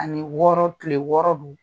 Ani wɔɔrɔ kile wɔɔrɔ don.